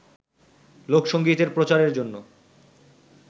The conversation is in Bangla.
লোকসংগীতের প্রচারের জন্য